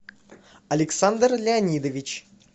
александр леонидович